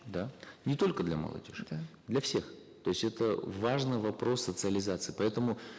да не только для молодежи да для всех то есть это важный вопрос социализации поэтому